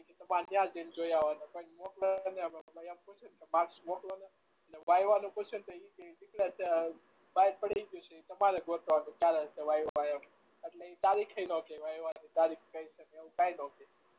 એ કે તમારે યા જઈ ને જોઈ આવાનું કોઈ ને મોકલ નહી માર્ક્સ મોકલો ને બહાર પડી ગયું છે એ તમારે ગોતવાનું એટલે ઈ તારીખ એ ના કે કેવા એ તારીખ કહી શકે એવું એ કાઈ ના કે